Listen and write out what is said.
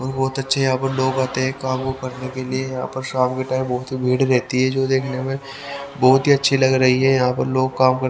और बहुत अच्छे यहां पर लोग आते हैं काम को करने के लिए यहां पर शाम के टाइम बहुत ही भीड़ रहती है जो देखने में बहुत ही अच्छी लग रही है यहां पर लोग काम क--